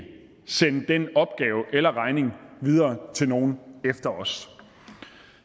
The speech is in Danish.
sende den opgave eller regning videre til nogle efter os